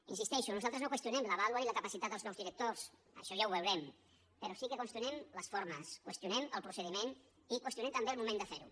hi insisteixo nosaltres no qüestionem la vàlua ni la capacitat dels nous directors això ja ho veurem però sí que qüestionem les formes qüestionem el procediment i qüestionem també el moment de fer ho